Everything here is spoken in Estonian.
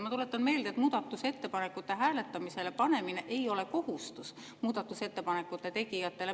Ma tuletan meelde, et muudatusettepanekute hääletamisele panemine ei ole muudatusettepanekute tegijatele kohustus.